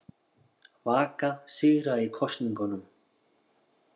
Vaka sigraði í kosningunum